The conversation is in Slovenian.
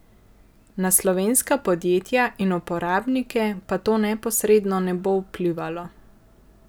Na slovenska podjetja in uporabnike pa to neposredno ne bo vplivalo.